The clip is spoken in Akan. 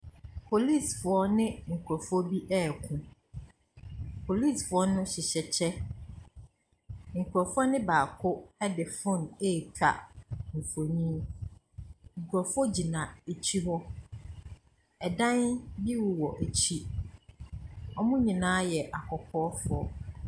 Polisifoɔ ne nkurɔfoɔ bi reko. Polisifoɔ no hyehyɛ kyɛ. Nkurɔfoɔ no baakode phone retwa mfonin. Nkurɔfoɔ gyina akyire hɔ. Ɛdan bi wowɔ akyire wɔn nyinaa yɛ akɔkɔɔfoɔ.